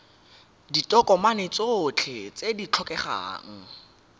ditokomane tsotlhe tse di tlhokegang